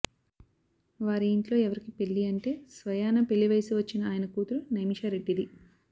వారి ఇంట్లో ఎవరికి పెళ్ళి అంటే స్వయాన పెళ్ళి వయసు వచ్చిన ఆయన కూతురు నైమిష రెడ్డిది